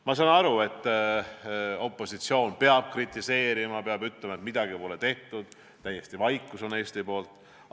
Ma saan aru, et opositsioon peab kritiseerima, peab ütlema, et midagi pole tehtud, et täielik vaikus on Eesti poolt.